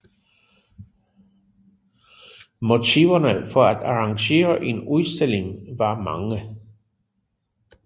Motiverne for at arrangere en udstilling var mange